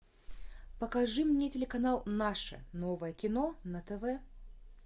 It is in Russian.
покажи мне телеканал наше новое кино на тв